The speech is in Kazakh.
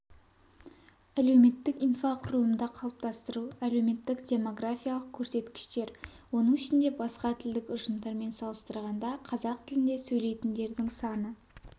әлеуметтік инфрақұрылымды қалыптастыру әлеуметтік-демографиялық көрсеткіштер оның ішінде басқа тілдік ұжымдармен салыстырғанда қазақ тілінде сөйлейтіндердің саны